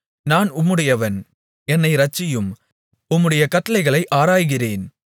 நான் உம்முடையவன் என்னை இரட்சியும் உம்முடைய கட்டளைகளை ஆராய்கிறேன்